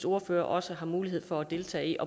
ordfører også har mulighed for at deltage i